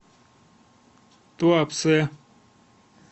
туапсе